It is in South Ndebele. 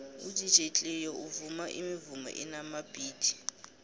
udj cleo uvuma imivumo enamabhithi